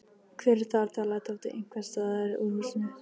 Hver er þar? galaði Tóti einhvers staðar úr húsinu.